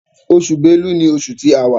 Oṣù Bélú ní oṣù tí àwa.